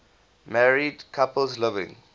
married couples living